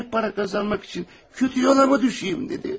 Kolay para kazanmaq üçün kötü yola mı düşeyim?